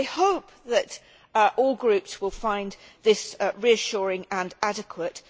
I hope that all groups will find that reassuring and adequate.